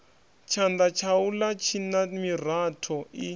tshanda tshaula tshina miratho i